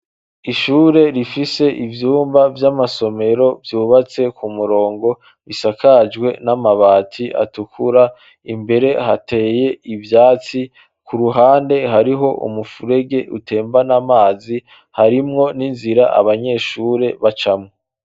Ishure rifise ivyumba vy'amasomero vyubatse ku murongo bisakajwe n'amabati atukura imbere hateye ivyatsi ku ruhande hariho umupfurege utembana amazi harimwo n'inzira abanyeshure bacamwo.